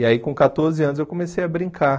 E aí com quatorze anos eu comecei a brincar.